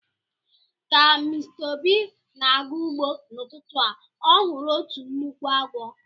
Ka Mr obi na-aga ugbo n'ututu a, o huru otu nnukwu agwo